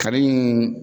Kanni